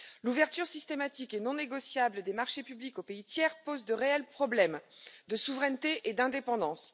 L'ouverture systématique et non négociable des marchés publics aux pays tiers pose de réels problèmes de souveraineté et d'indépendance.